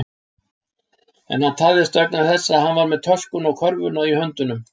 En hann tafðist vegna þess að hann var með töskuna og körfuna í höndunum.